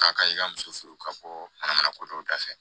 K'a ka i ka muso furu ka bɔ manamana ko dɔ da fɛ